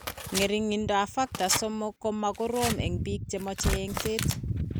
Ng'ering'indoab Factor XIII ko ma korom eng' biko che meche eng'set.